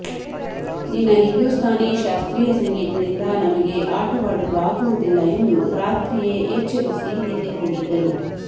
ನಿನ್ನ ಹಿಂದೂಸ್ತಾನೀ ಶಾಸ್ತ್ರೀಯ ಸಂಗೀತದಿಂದ ನಮಗೆ ಆಟವಾಡಲು ಆಗುವುದಿಲ್ಲ ಎಂದು ರಾತ್ರಿಯೇ ಎಚ್ಚರಿಸಿ ನಿದ್ದೆ ಹೋಗಿದ್ದರು